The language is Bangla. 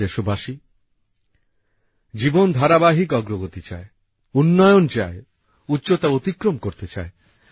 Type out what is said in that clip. প্রিয় দেশবাসী জীবন ধারাবাহিক অগ্রগতি চায় উন্নয়ন চায় উচ্চতা অতিক্রম করতে চায়